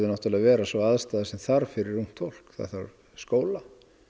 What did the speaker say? að vera sú aðstaða sem þarf fyrir ungt fólk það þarf skóla